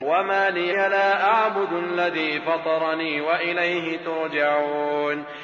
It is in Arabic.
وَمَا لِيَ لَا أَعْبُدُ الَّذِي فَطَرَنِي وَإِلَيْهِ تُرْجَعُونَ